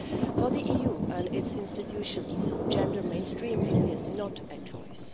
For the EU and its institutions, gender mainstreaming is not a choice.